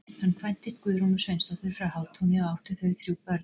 Hann kvæntist Guðrúnu Sveinsdóttur frá Hátúni og áttu þau þrjú börn.